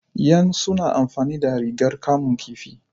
yan su na amfani da ragar kamun kifi.